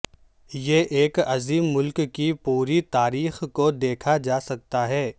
یہ ایک عظیم ملک کی پوری تاریخ کو دیکھا جا سکتا ہے